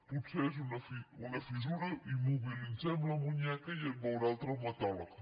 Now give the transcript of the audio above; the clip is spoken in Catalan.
potser és una fissura immobilitzem el canell i et veurà el traumatòleg